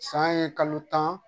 San ye kalo tan